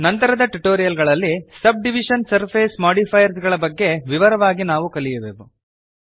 ನಂತರದ ಟ್ಯುಟೋರಿಯಲ್ ಗಳಲ್ಲಿ subdivision surface modifiers ಗಳ ಬಗೆಗೆ ವಿವರವಾಗಿ ನಾವು ಕಲಿಯುವೆವು